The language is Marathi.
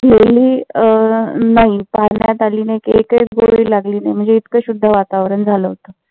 गिळली अं नाही. चारण्यात आली नाही कि एकही गोळी लागली नाही. म्हणजे इतक शुद्ध वातावरण झालं होत.